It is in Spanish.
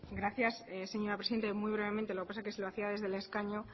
gracias señora presidenta muy brevemente lo que pasa es que si lo hacía desde el escaño